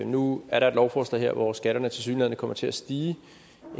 nu er der et lovforslag her hvor skatterne tilsyneladende kommer til at stige